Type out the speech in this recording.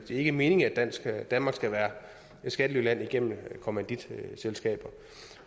ikke meningen at danmark skal være et skattelyland gennem kommanditselskaber